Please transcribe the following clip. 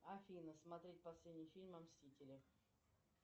афина смотреть последний фильм о мстителях